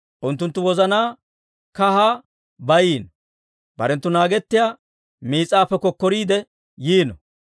Unttunttu wozanaa kahaa bayiino. Barenttu naagettiyaa miis'aappe kokkoriidde yiino.